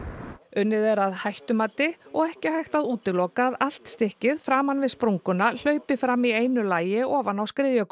unnið er að hættumati og ekki hægt að útiloka að allt stykkið framan við sprunguna hlaupi fram í einu lagi ofan á